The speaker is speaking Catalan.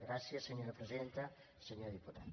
gràcies senyora presidenta senyor diputat